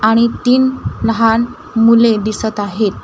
आणि तीन लहान मुले दिसत आहेत उभे आहेत.